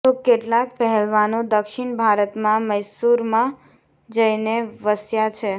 તો કેટલાક પહેલવાનો દક્ષિણ ભારતમાં મૈસૂરમાં જઈને વસ્યા છે